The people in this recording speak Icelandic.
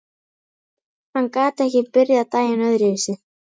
Hann gat ekki byrjað daginn öðruvísi.